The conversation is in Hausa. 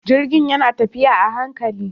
Jirgin yana tafiya a hankali.